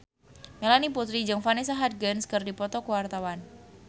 Melanie Putri jeung Vanessa Hudgens keur dipoto ku wartawan